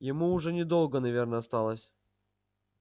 ему уже недолго наверное осталось